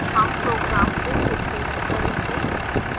हम program को फिर से रन करेंगे